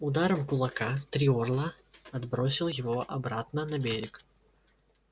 ударом кулака три орла отбросил его обратно на берег